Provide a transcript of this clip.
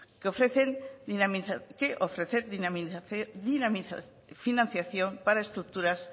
que ofrecer financiación para estructuras